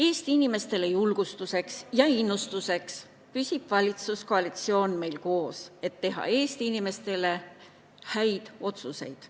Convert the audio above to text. Eesti inimestele julgustuseks ja innustuseks püsib valitsuskoalitsioon koos, et teha Eesti inimestele häid otsuseid.